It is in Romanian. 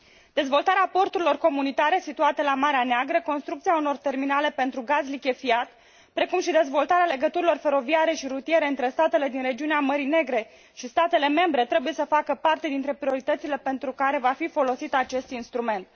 Dezvoltarea porturilor comunitare situate la Marea Neagră, construcția unor terminale pentru gaz lichefiat, precum și dezvoltarea legăturilor feroviare și rutiere între statele din regiunea Mării Negre și statele membre trebuie să facă parte dintre prioritățile pentru care va fi folosit acest instrument.